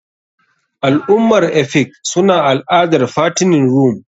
Al'ummar efik suna al'adar fattening room.